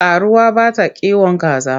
Karuwa bata kiwon kaza.